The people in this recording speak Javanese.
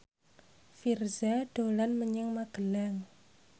Virzha dolan menyang Magelang